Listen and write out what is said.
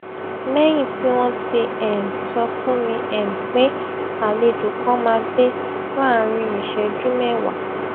lẹyìn tí wón ti um sọ fún mi um pé àlejò kan máa dé láàárín ìṣéjú méwàá